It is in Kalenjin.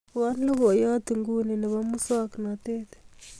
ibwon logoyot en nguni nebo musoknotet